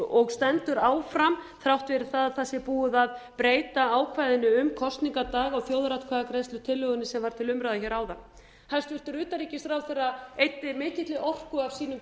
og stendur áfram þrátt fyrir það að það sé búið að breyta ákvæðinu um kosningadag og þjóðaratkvæðagreiðslutillögunni sem var til umræðu hér áðan hæstvirtur utanríkisráðherra eyddi mikilli orku af sínum